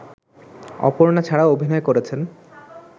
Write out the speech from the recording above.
অপর্ণা ছাড়াও অভিনয় করেছেন